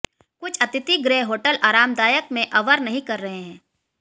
कुछ अतिथि गृह होटल आरामदायक में अवर नहीं कर रहे हैं